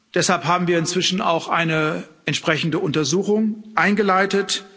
Deshalb haben wir inzwischen auch eine entsprechende Untersuchung eingeleitet.